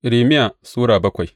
Irmiya Sura bakwai